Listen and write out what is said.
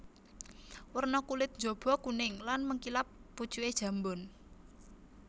Werna kulit njaba kuning lan mengkilap pucuke jambon